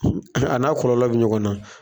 A n'a kɔlɔlɔ bɛ ɲɔgɔn na.